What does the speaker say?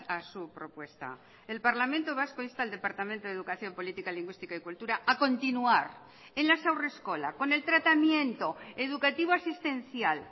a su propuesta el parlamento vasco insta al departamento de educación política lingüística y cultura a continuar en las haurreskolak con el tratamiento educativo asistencial